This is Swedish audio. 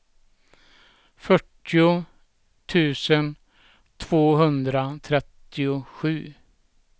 fyrtio tusen tvåhundratrettiosju